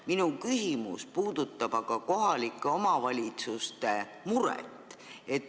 Minu küsimus puudutab aga kohalike omavalitsuste muret.